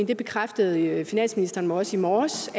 det bekræftede finansministeren også i morges